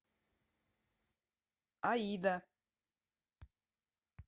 аида